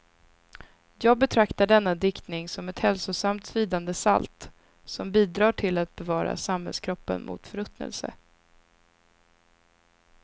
Jag betraktar denna diktning som ett hälsosamt svidande salt, som bidrar till att bevara samhällskroppen mot förruttnelse.